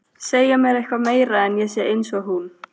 Segja mér eitthvað meira en að ég sé einsog hún.